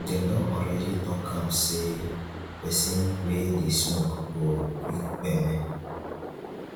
dem don already talk am say pesin wey dey smoke go quick kpeme.